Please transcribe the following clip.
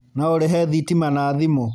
No ũrĩhe thitima na thimũ